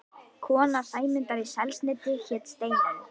Kona Sæmundar í Selnesi hét Steinunn.